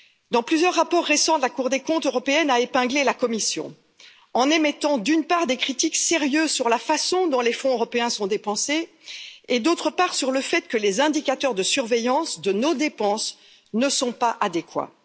Dans plusieurs rapports récents, la Cour des comptes européenne a épinglé la Commission en émettant des critiques sérieuses, d'une part, sur la façon dont les fonds européens sont dépensés et, d'autre part, sur le fait que les indicateurs de surveillance de nos dépenses ne sont pas adéquats.